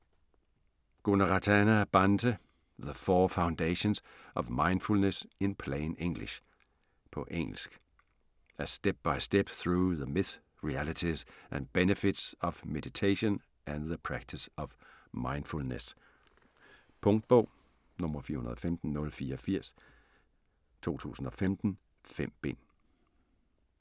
Gunaratana, Bhante : The four foundations of mindfulness in plain English På engelsk. A step by step through the myths, realities, and benefits of meditation and the practice of mindfulness. Punktbog 415084 2015. 5 bind.